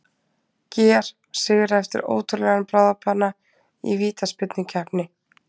GER sigra eftir ótrúlegan bráðabana í vítaspyrnukeppni!